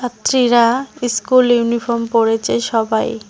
চিরা school uniform পড়েছে সবাই।